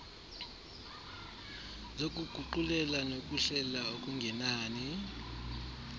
zokuguqulela nokuhlela okungenani